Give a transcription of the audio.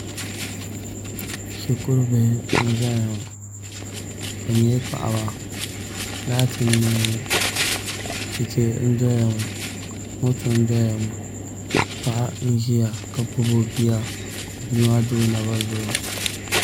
Shikuru bihi n ʒɛya ŋo bi nyɛla paɣaba laati n nee ŋo chɛchɛ n doya ŋo moto n doya ŋo paɣa n ʒiya ka gbubi o bia ka o bia maa do o naba zuɣu